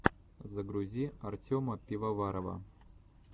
загрузи артема пивоварова